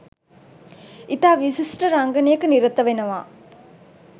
ඉතා විෂිශ්ඨ රංගනයක නිරත වෙනව.